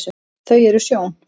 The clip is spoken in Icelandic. þau eru sjón